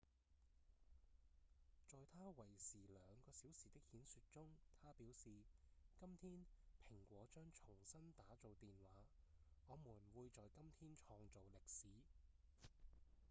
在他為時2個小時的演說中他表示：「今天蘋果將重新打造電話我們會在今天創造歷史」